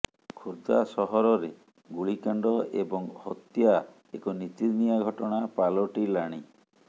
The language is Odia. ଖୋର୍ଦ୍ଧା ସହରରେ ଗୁଳିକାଣ୍ଡ ଏବଂ ହତ୍ୟା ଏକ ନିତିଦିନିଆ ଘଟଣା ପାଲଟିଲାଣି